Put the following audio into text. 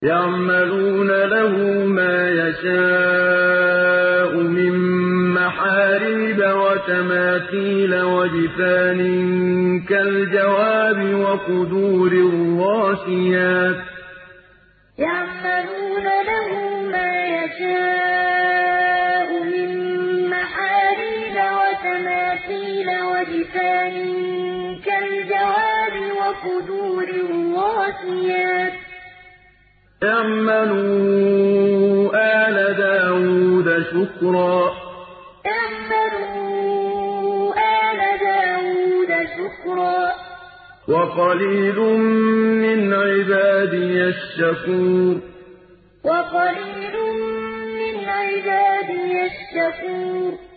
يَعْمَلُونَ لَهُ مَا يَشَاءُ مِن مَّحَارِيبَ وَتَمَاثِيلَ وَجِفَانٍ كَالْجَوَابِ وَقُدُورٍ رَّاسِيَاتٍ ۚ اعْمَلُوا آلَ دَاوُودَ شُكْرًا ۚ وَقَلِيلٌ مِّنْ عِبَادِيَ الشَّكُورُ يَعْمَلُونَ لَهُ مَا يَشَاءُ مِن مَّحَارِيبَ وَتَمَاثِيلَ وَجِفَانٍ كَالْجَوَابِ وَقُدُورٍ رَّاسِيَاتٍ ۚ اعْمَلُوا آلَ دَاوُودَ شُكْرًا ۚ وَقَلِيلٌ مِّنْ عِبَادِيَ الشَّكُورُ